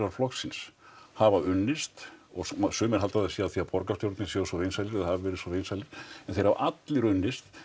flokksins hafa unnist og sumir halda að það sé af því að borgarstjórarnir séu svo vinsælir eða hafa verið svo vinsælir en þeir hafa allir unnist